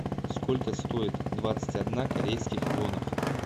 сколько стоит двадцать одна корейских вонах